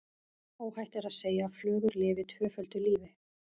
Óhætt er að segja að flugur lifi tvöföldu lífi.